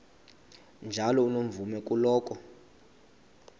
njalo unomvume kuloko